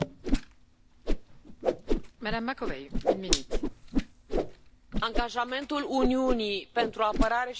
Angajamentul Uniunii pentru apărare și securitate este vital în aceste momente și a fost întotdeauna.